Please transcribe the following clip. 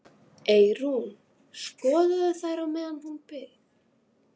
Eyrún skoðaði þær meðan hún beið.